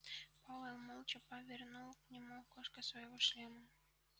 пауэлл молча повернул к нему окошко своего шлема